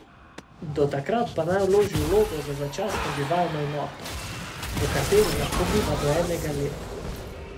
Do takrat pa naj vloži vlogo za začasno bivalno enoto, v kateri lahko biva do enega leta.